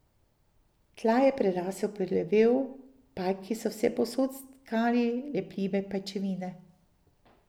Tla je prerastel plevel, pajki so vsepovsod stkali lepljive pajčevine.